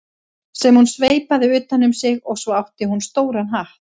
sem hún sveipaði utan um sig og svo átti hún stóran hatt.